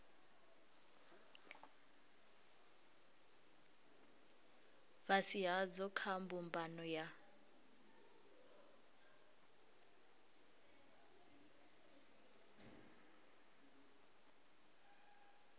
fhasi hadzo kha mbumbano ya